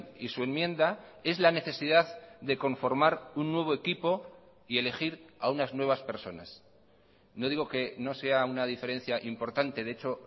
y su enmienda es la necesidad de conformar un nuevo equipo y elegir a unas nuevas personas no digo que no sea una diferencia importante de hecho